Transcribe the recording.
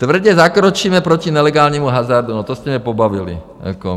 "Tvrdě zakročíme proti nelegálnímu hazardu" - no, to jste mě pobavili.